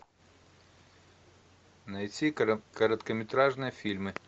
найти короткометражные фильмы